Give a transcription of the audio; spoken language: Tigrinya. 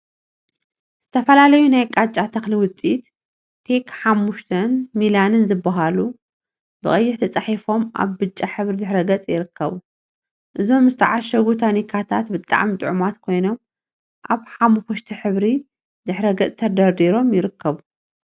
ዝተፈላለዩ ናይ ቃጫ ተክሊ ውፅኢት ቴክ5 ን ሚላን ዝብሉ ብቀይሕ ተፃሒፎም አብ ብጫ ሕብሪ ድሕረ ገፅ ይርከቡ፡፡ እዞም ዝተዓሸጉ ታኒካታት ብጣዕሚ ጥዑማት ኮይኖም፤ አብ ሓመኩሽቲ ሕብሪ ድሕረ ገፅ ተደርዲሮም ይርኩቡ፡፡